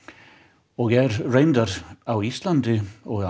og er reyndar á Íslandi og